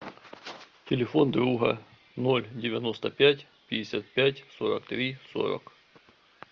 телефон друга ноль девяносто пять пятьдесят пять сорок три сорок